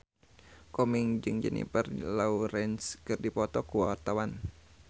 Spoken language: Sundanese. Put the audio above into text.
Komeng jeung Jennifer Lawrence keur dipoto ku wartawan